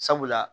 Sabula